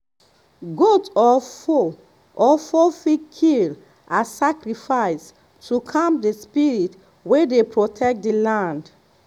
goat or fowl or fowl fit kill as sacrifice to calm the spirit wey dey protect the land.